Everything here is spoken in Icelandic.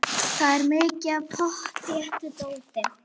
Það er mikið af pottþéttu dóti.